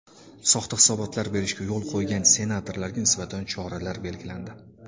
Soxta hisobotlar berishga yo‘l qo‘ygan senatorlarga nisbatan choralar belgilandi.